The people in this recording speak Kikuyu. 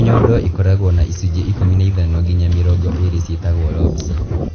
O nyondo ĩkoragũo na icunjĩ ĩkũmi na ithano nginya mĩrongo ĩrĩ ciĩtagwo lobes.